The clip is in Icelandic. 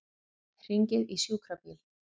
Hringið í sjúkrabíl.